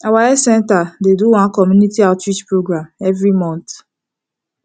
our health center dey do one community outreach program every month